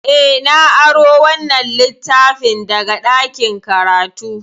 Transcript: Eh, na aro wannan littafin daga ɗakin karatu.